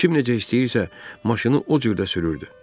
Kim necə istəyirsə, maşını o cür də sürürdü.